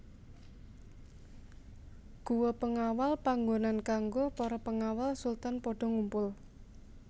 Guwa Pengawal panggonan kanggo para pengawal sultan padha ngumpul